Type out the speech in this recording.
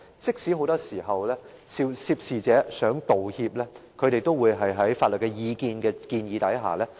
即使很多時候，涉事者想道歉，也會在法律意見的建議下卻步。